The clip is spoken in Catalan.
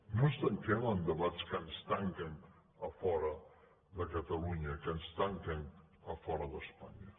no ens tanquem en debats que ens tanquen a fora de catalunya que ens tanquen a fora d’espanya